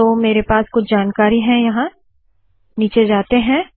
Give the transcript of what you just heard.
तो मेरे पास कुछ जानकारी है यहाँ नीचे जाते है